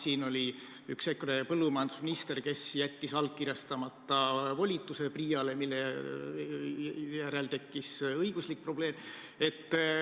Meil oli üks EKRE põllumajandusminister, kes jättis allkirjastamata volitused PRIA-le, mille järel tekkis õiguslik probleem.